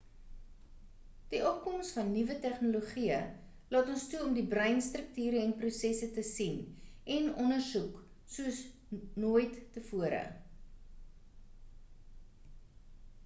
die opkoms van nuwe tegnologieë laat ons toe om die breinstrukture en prosesse te sien en ondersoek soos not nooit tevore